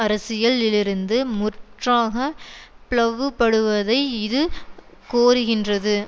அரசியலிலிருந்து முற்றாக ப்ளவுபடுவதை இது கோருகின்றது